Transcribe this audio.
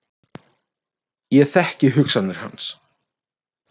Ég þekki hugsanir hans.